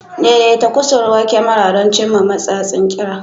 Daidaita kusurwar kyamara don cimma matsatsin ƙira.